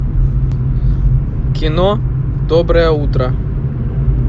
кино доброе утро